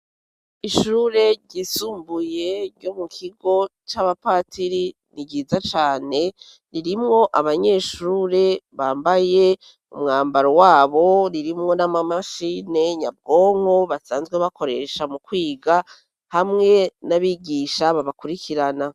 Ishure ryisumbuye ryo mu kigo c'abapatiri ni riza cane ririmwo abanyeshure bambaye mu mwambaro wabo ririmwo n'amamashine nyabwonko basanzwe bakoresha mu kwiga hamwe n'abigisha babakurikirana.